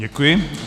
Děkuji.